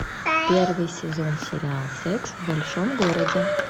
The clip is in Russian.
первый сезон сериал секс в большом городе